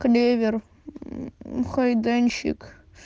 клевер хайденчик